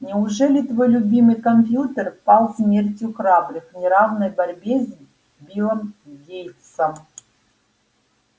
неужели твой любимый компьютер пал смертью храбрых в неравной борьбе с биллом гейтсом